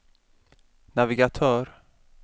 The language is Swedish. navigatör